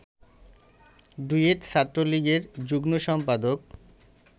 duet ছাত্রলীগের যুগ্ম সম্পাদক